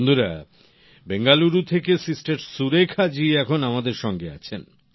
বন্ধুরা বেঙ্গালুরু থেকে সিস্টার সুরেখা জী এখন আমাদের সঙ্গে আছেন